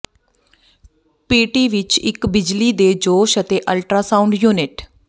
PT ਵਿਚ ਇੱਕ ਬਿਜਲੀ ਦੇ ਜੋਸ਼ ਅਤੇ ਅਲਟਰਾਸਾਊਂਡ ਯੂਨਿਟ